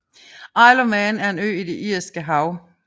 Isle of Man er en ø i det Irske Hav